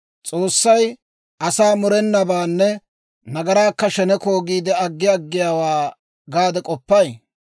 S'oossay asaa murenabaanne nagaraakka sheneko giide aggi aggiyaawaa gaade k'oppay?